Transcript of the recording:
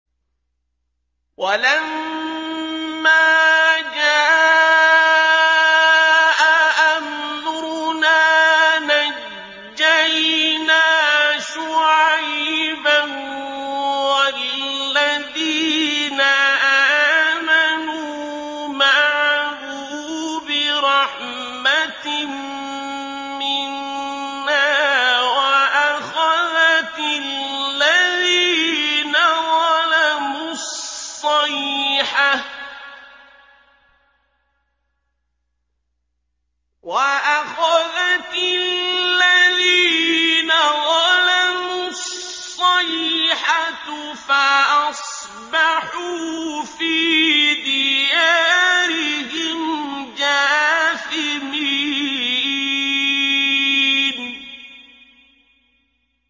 وَلَمَّا جَاءَ أَمْرُنَا نَجَّيْنَا شُعَيْبًا وَالَّذِينَ آمَنُوا مَعَهُ بِرَحْمَةٍ مِّنَّا وَأَخَذَتِ الَّذِينَ ظَلَمُوا الصَّيْحَةُ فَأَصْبَحُوا فِي دِيَارِهِمْ جَاثِمِينَ